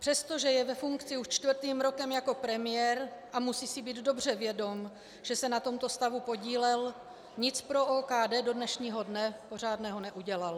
Přestože je ve funkci už čtvrtým rokem jako premiér a musí si být dobře vědom, že se na tomto stavu podílel, nic pro OKD do dnešního dne pořádného neudělal.